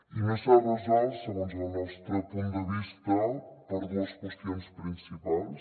i no s’ha resolt segons el nostre punt de vista per dues qüestions principals